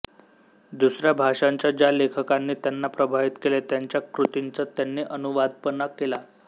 दुसऱ्या भाषांच्या ज्या लेखकांनी त्यांना प्रभावित केले त्यांच्या कृतींचा त्यांनी अनुवादपण केला